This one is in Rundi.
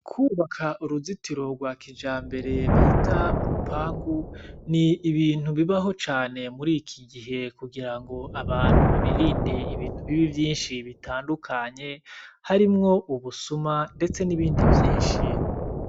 Kwubaka uruzitiro rwa kijambere bita urupangu, ni ibintu bibaho cane muri iki gihe kugira ngo abantu birinde ibintu bibi vyinshi bitandukanye, harimwo ubusuma ndetse n'ibindi vyinshi.